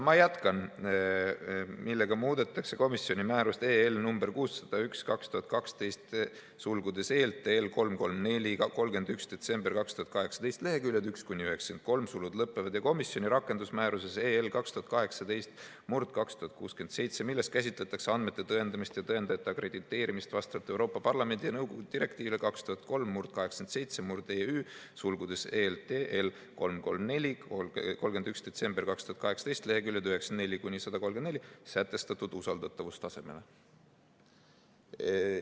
Ma jätkan: "millega muudetakse komisjoni määrust nr 601/2012 , ja komisjoni rakendusmääruses 2018/2067, milles käsitletakse andmete tõendamist ja tõendajate akrediteerimist vastavalt Euroopa Parlamendi ja nõukogu direktiivile 2003/87/EÜ , sätestatud usaldatavustasemele.